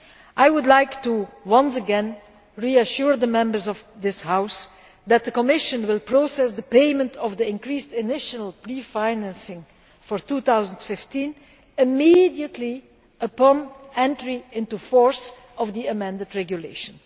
I would like to once again reassure the Members of this House that the Commission will process the payment of the increased initial pre financing for 2015 immediately upon the entry into force of the amended regulation.